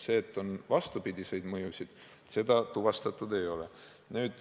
Seda, et on vastupidiseid mõjusid, tuvastatud ei ole.